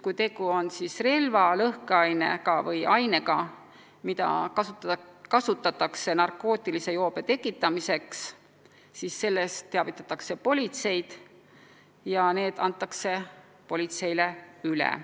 Kui tegu on relva, lõhkeainega või ainega, mida kasutatakse narkootilise joobe tekitamiseks, siis sellest teavitatakse politseid ja need antakse politseile üle.